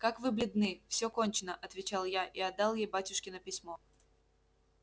как вы бледны всё кончено отвечал я и отдал ей батюшкино письмо